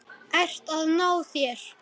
Ert að ná þér.